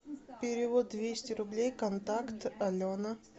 перевод двести рублей контакт алена